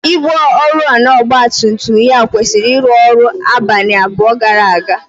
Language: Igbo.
ígwè oriọna ọgba tum tum ya kwụsịrị ịrụ ọrụ abalị abụọ gara aga.